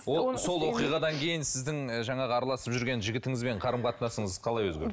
ол сол оқиғадан кейін сіздің жаңағы араласып жүрген жігітіңізбен қарым қатынасыңыз қалай өзгерді